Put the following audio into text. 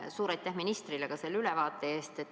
Suur aitäh ka ministrile selle ülevaate eest.